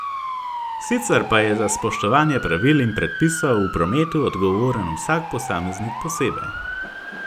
Sicer pa je za spoštovanje pravil in predpisov v prometu odgovoren vsak posameznik posebej.